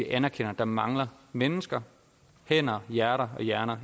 anerkender at der mangler mennesker hænder hjerter og hjerner